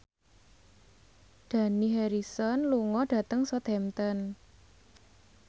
Dani Harrison lunga dhateng Southampton